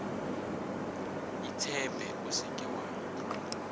itshepe o se ke wa